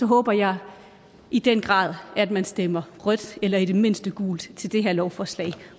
håber jeg i den grad at man stemmer rødt eller i det mindste gult til det her lovforslag